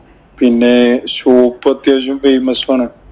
പിന്നെ shop അത്യാവശ്യം famous ആണ്.